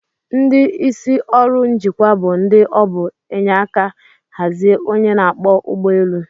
Ndi isi orụ njikwa bu ndi obu enyeka hazie onye n'akpọ ugbọ elu.